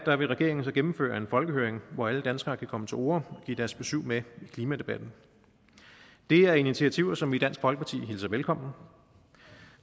vil regeringen så gennemføre en folkehøring hvor alle danskere kan komme til orde og give deres besyv med i klimadebatten det er initiativer som vi i dansk folkeparti hilser velkommen